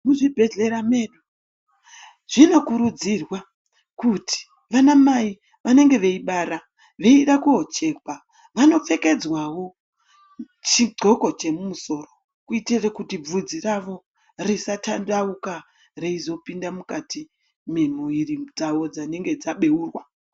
Muzvibhedhlera medu zvinokurudzirwa kuti vanamai venenge veibara veida kochekwa vanopfekedzwawo chinxoko chemumusoro kuti bvudzi rawo risadandauka reizopinda mukati memwiri dzawo dzinenge dzabeurwa .